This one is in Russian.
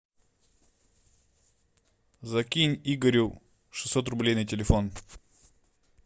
закинь игорю шестьсот рублей на телефон